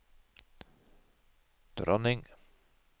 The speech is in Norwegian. dronning